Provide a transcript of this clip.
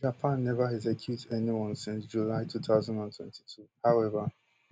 japan neva execute anyone since july two thousand and twenty-two howeva